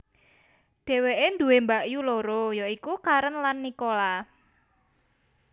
Dheweke duwé mbakyu loro ya iku Karen lan Nicola